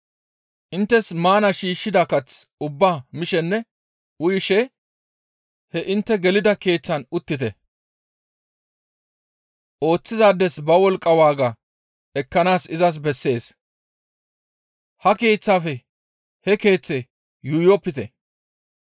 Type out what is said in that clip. Inttes maana shiishshida kath ubbaa mishenne uyishe he intte gelida keeththaan uttite; ooththizaades ba wolqqa waaga ekkanaas izas bessees; ha keeththaafe he keeththe yuuyopite.